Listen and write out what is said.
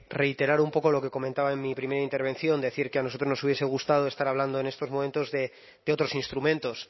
reiterar un poco lo que comentaba en mi primera intervención decir que a nosotros nos hubiese gustado estar hablando en estos momentos de otros instrumentos